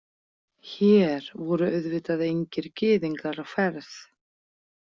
Hér voru auðvitað engir gyðingar á ferð.